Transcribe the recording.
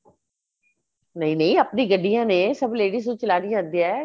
ਨਹੀਂ ਨਹੀਂ ਆਪਣੀ ਗਡੀਆਂ ਨੇ ਸਭ ladies ਨੂੰ ਚਲਾਣੀ ਆਉਂਦੀ ਏ